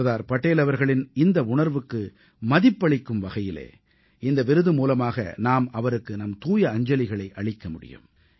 சர்தார் படேல் அவர்களின் இந்த உணர்வுக்கு மதிப்பளிக்கும் வகையிலே இந்த விருது மூலமாக நாம் அவருக்கு நம் தூய அஞ்சலிகளை அளிக்க முடியும்